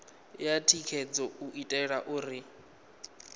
ya thikhedzo u itela uri